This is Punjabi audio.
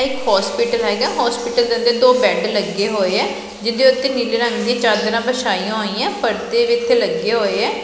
ਇਕ ਹੋਸਪਿਟਲ ਹੇਗਾ ਹੋਸਪਿਟਲ ਦੇ ਦੋ ਬੈਡ ਲੱਗੇ ਹੋਏ ਆ ਜਿਹਦੇ ਉੱਤੇ ਨੀਲੇ ਰੰਗ ਦੀ ਚਾਦਰਾਂ ਵਿਛਾਈਆਂ ਹੋਈਆਂ ਪਰਦੇ ਵੀ ਇੱਥੇ ਲੱਗੇ ਹੋਏ ਏ।